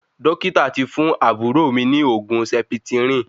Dókítà tí fún àbúrò mí ní oògùn sẹpitirìn